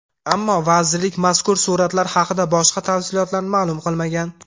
Ammo vazirlik mazkur suratlar haqida boshqa tafsilotlarni ma’lum qilmagan.